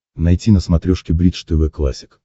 найти на смотрешке бридж тв классик